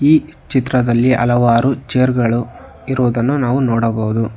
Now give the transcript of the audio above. ಈ ಚಿತ್ರದಲ್ಲಿ ಹಲವಾರು ಚೇರ್ ಗಳು ಇರುವುದನ್ನು ನಾವು ನೋಡಬಹುದು.